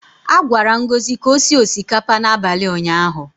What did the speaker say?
A gwara Ngozi ka o sie osikapa n’abalị ụnyaahụ.